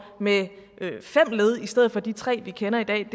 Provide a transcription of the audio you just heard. med fem led i stedet for de tre vi kender i dag